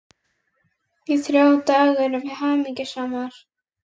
Í þrjá daga erum við hamingjusamar.